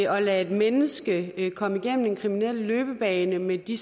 at lade et menneske komme igennem en kriminel løbebane med de